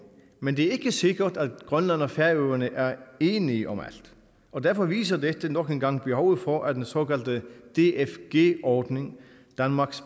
men det er ikke sikkert at grønland og færøerne er enige om alt og derfor viser dette nok en gang behovet for at den såkaldte dfg ordning danmark